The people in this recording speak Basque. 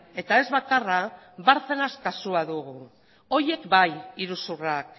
eta ez bakarra bárcenas kasua dugu horiek bai iruzurrak